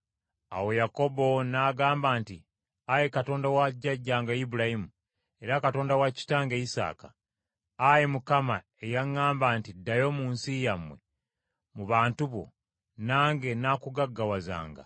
Awo Yakobo n’agamba nti, “Ayi Katonda wa jjajjange Ibulayimu, era Katonda wa kitange Isaaka, Ayi Mukama eyaŋŋamba nti, ‘Ddayo mu nsi yammwe, mu bantu bo, nange nnaakugaggawazanga,’